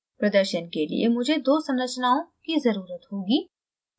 प्रदर्शन के लिए मुझे दो संरचनाओं की ज़रुरत होगी